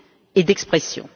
et d'expression.